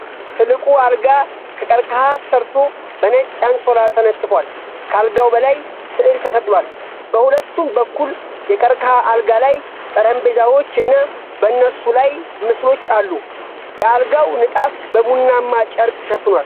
ትልቁ አልጋ ከቀርከሃ ተሠርቶ በነጭ አንሶላ ተነጥፏል። ከአልጋው በላይ ሥዕል ተሰቅሏል። በሁለቱም በኩል የቀርከሃ አልጋ ላይ ጠረጴዛዎች እና በእነሱ ላይ ምስሎች አሉ። የአልጋው ንጣፍ በቡናማ ጨርቅ ተሸፍኗል።